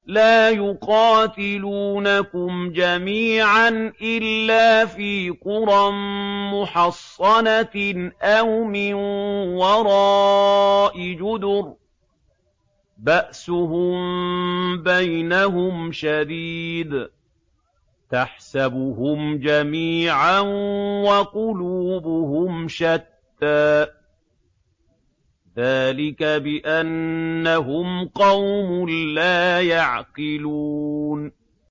لَا يُقَاتِلُونَكُمْ جَمِيعًا إِلَّا فِي قُرًى مُّحَصَّنَةٍ أَوْ مِن وَرَاءِ جُدُرٍ ۚ بَأْسُهُم بَيْنَهُمْ شَدِيدٌ ۚ تَحْسَبُهُمْ جَمِيعًا وَقُلُوبُهُمْ شَتَّىٰ ۚ ذَٰلِكَ بِأَنَّهُمْ قَوْمٌ لَّا يَعْقِلُونَ